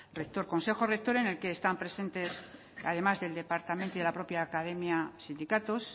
rector consejo rector en el que están presentes además del departamento y la propia academia sindicatos